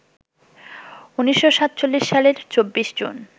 ১৯৪৭ সালের ২৪ জুন